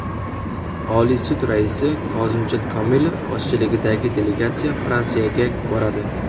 Oliy sud raisi Kozimjon Komilov boshchiligidagi delegatsiya Fransiyaga boradi.